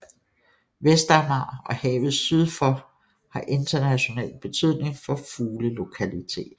Vestamager og havet syd for har international betydning som fuglelokalitet